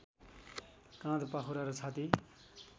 काँध पाखुरा र छाती